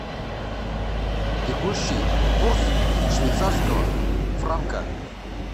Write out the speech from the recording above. текущий курс швейцарского франка